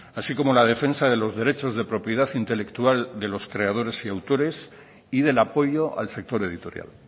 así como la defensa de los derechos de propiedad intelectual de los creadores y autores y del apoyo al sector editorial